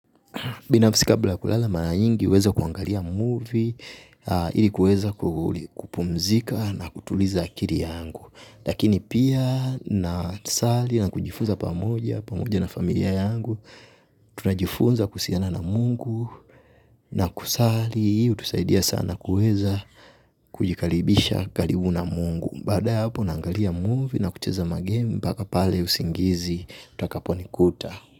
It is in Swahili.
Binafsi kabla ya kulala mara nyingi huweza kuangalia movie, ili kuweza kupumzika na kutuliza akili yangu. Lakini pia nasali na kujifuza pamoja, pamoja na familia yangu, tunajifunza kuhusiana na mungu, na kusali, utusaidia sana kuweza kujikaribisha karibu na mungu. Baada ya hapo naangalia movie na kucheza magame, mpaka pale usingizi, utakaponikuta.